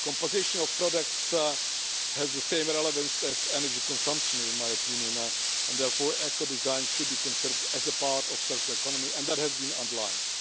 Composition of products has the same relevance as energy consumption, in my opinion, and therefore ecodesign should be considered as a part of the circular economy, and that has been underlined.